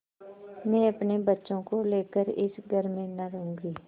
मैं अपने बच्चों को लेकर इस घर में न रहूँगी